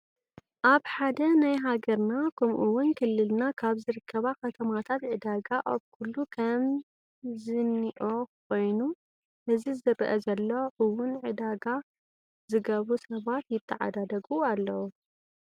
ኣብ ሓደ ናይ ሃገርና ከማኡ እውን ክልልና ካብ ዝርከባ ከተማታት ዕዳጋ ኣብ ኩሉ ከም ዘኢኦ ኮይኑ እዚ ዝረአ ዘሎ እውን ዕዳጋ ዝገብሩ ሰባት ይትተዓዳደጉ ኣለዉ::